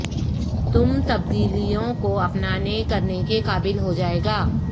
تم تبدیلیوں کو اپنانے کرنے کے قابل ہو جائے گا